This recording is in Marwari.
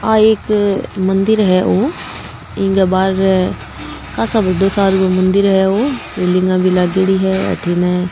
आ एक मन्दिर है औ इंग बार कासा बडो सार को मन्दिर है औ रैलिंगा भी लागेड़ी है अठन --